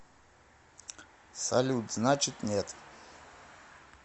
салют значит нет